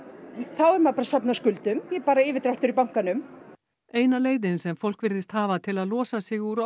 þá er maður bara að safna skuldum bara yfirdráttur í bankanum eina leiðin sem fólk virðist hafa til að losa sig úr